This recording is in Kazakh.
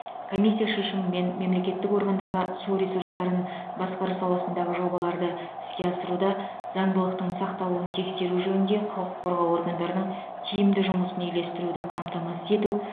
комиссия шешімімен мемлекеттік органдарға су ресурстарын басқару саласындағы жобаларды іске асыруда заңдылықтың сақталуын тексеру жөнінде құқық қорғау органдарының тиімді жұмысын үйлестіруді қамтамасыз ету